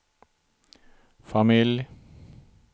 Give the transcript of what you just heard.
familj